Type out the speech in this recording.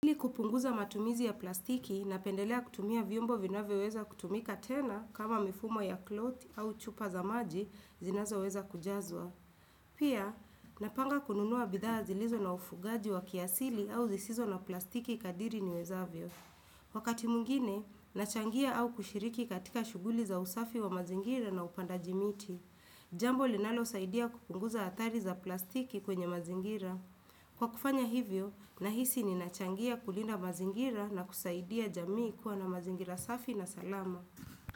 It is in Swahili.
Ili kupunguza matumizi ya plastiki napendelea kutumia vyombo vinavyoweza kutumika tena kama mifumo ya cloth au chupa za maji zinazo weza kujazwa. Pia, napanga kununua bidhaa zilizo na ufungaji wa kiasili au zisizo na plastiki kadiri niwezavyo. Wakati mwingine, nachangia au kushiriki katika shughuli za usafi wa mazingira na upandaji miti. Jambo linalosaidia kupunguza athari za plastiki kwenye mazingira. Kwa kufanya hivyo, nahisi ninachangia kulinda mazingira na kusaidia jamii kuwa na mazingira safi na salama.